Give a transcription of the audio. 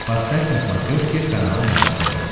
поставь на смотрешке канал нано тв